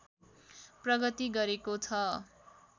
प्रगति गरेको छ